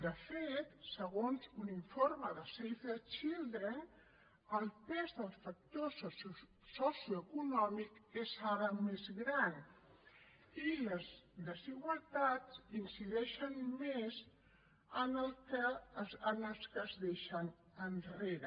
de fet segons un informe de save the children el pes del factor socioeconòmic és ara més gran i les desigualtats incideixen més en els que es deixen enrere